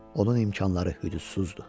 Onun imkanları hüdudsuzdur.